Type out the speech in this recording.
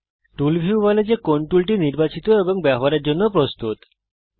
টুল view বলে যে কোন টুলটি নির্বাচিত হয়েছে এবং ব্যবহার করার জন্য প্রস্তুত আছে